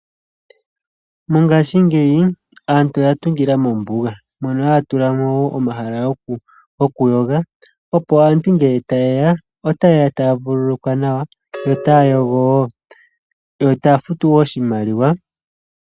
Mongashingeyi aantu oya tungila mombuga mono haya tulamo wo omahala gokuyoga opo aantu nge taye ya ,otaye ya taya vululukwa nawa yo taya yogo wo, yo taya futu wo oshimaliwa.